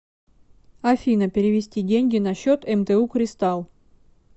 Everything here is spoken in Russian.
афина перевести деньги на счет мту кристалл